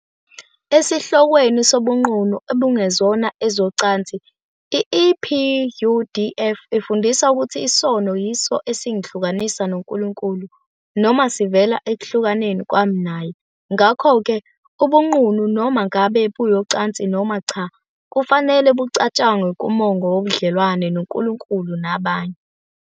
Esihlokweni sobunqunu obungezona ezocansi, i-EPUdf ifundisa ukuthi, "Isono yiso esingihlukanisa noNkulunkulu noma sivela ekuhlukaneni kwami Naye. Ngakho-ke, ubunqunu, noma ngabe buyocansi noma cha, kufanele bucatshangwe kumongo wobudlelwano noNkulunkulu nabanye.